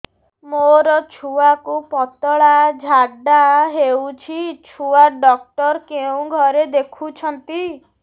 ମୋର ଛୁଆକୁ ପତଳା ଝାଡ଼ା ହେଉଛି ଛୁଆ ଡକ୍ଟର କେଉଁ ଘରେ ଦେଖୁଛନ୍ତି